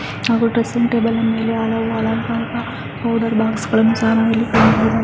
Dressing table ಇದೆ box ಗಳನ್ನೂ ನೋಡಬಹುದು.